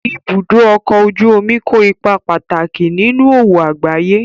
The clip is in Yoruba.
Ibùdó ọkọ̀ ojú omi kó ipa pàtàkì nínú òwò àgbáyé